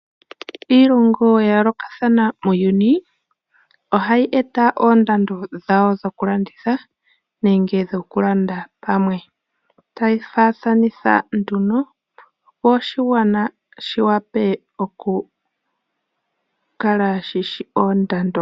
Iilongo ya yoolokathana muuyuni, ohayi eta oondando dhawo dhokulanditha nenge dhokulanda palwe. Taye dhi faathanitha nduno opo oshigwana shiwape shikale shishi oondando.